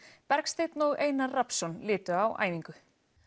Bergsteinn og Einar Rafnsson litu á æfingu